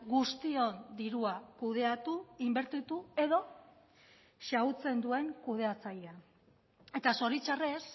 guztion dirua kudeatu inbertitu edo xahutzen duen kudeatzailea eta zoritxarrez